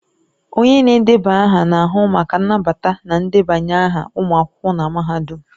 Onye na-edeba aha na-ahụ maka nnabata na ndebanye aha ụmụ akwụkwọ na mahadum.